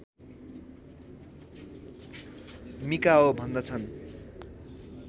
Mikao भन्दछन्